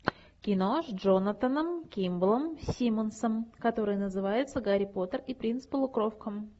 кино с джонатаном кимблом симмонсом которое называется гарри поттер и принц полукровка